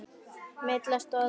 Milla stóð upp.